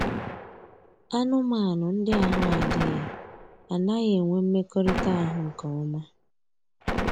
Anụmanụ ndị ahụ adịghị anaghị enwe mmekọrịta ahụ nke ọma